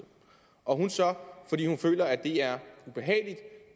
og hun så fordi hun føler at det er ubehageligt